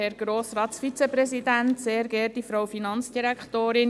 Kommissionspräsidentin der JuKo.